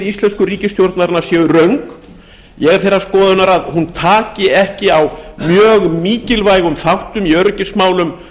íslensku ríkisstjórnarinnar séu röng ég er þeirrar skoðunar að hún taki ekki á mjög mikilvægum þáttum í öryggismálum